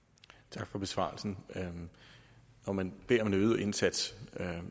tak for besvarelsen når man beder om en øget indsats er